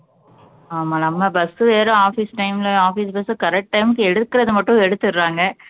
ஆமா நம்ம bus வெறும் office time ல office bus correct time க்கு எடுக்குறது மட்டும் எடுத்துடுறாங்க